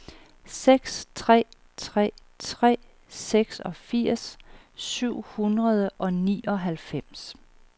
seks tre tre tre seksogfirs syv hundrede og nioghalvfems